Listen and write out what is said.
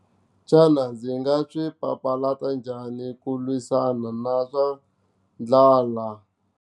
Xana ndzi nga swi papalata njhani ku lwisana na swa ndlala?